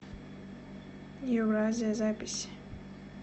евразия запись